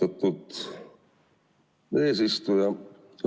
Austatud eesistuja!